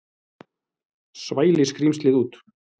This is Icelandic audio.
Svæli skrímslið út.